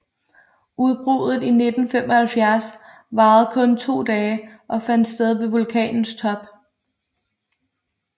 Udbruddet i 1975 varede kun to dage og fandt sted ved vulkanens top